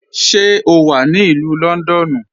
Ṣé o wà ní Ilù Lọ́ndọ́nù?